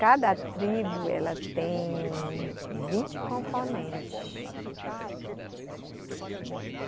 Cada tribo, ela tem vinte componentes.